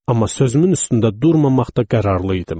Amma sözümün üstündə durmamaqda qərarlı idim.